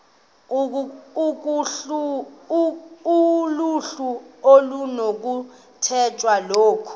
kuluhlu okunokukhethwa kulo